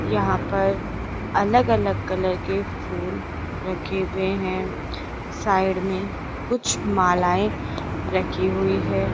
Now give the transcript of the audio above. यहां पर अलग अलग कलर के फूल रखे हुए हैं साइड में कुछ मालाएं रखी हुई है।